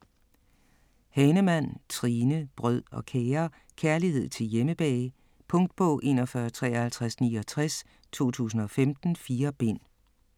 Hahnemann, Trine: Brød og kager Kærlighed til hjemmebag. Punktbog 415369 2015. 4 bind.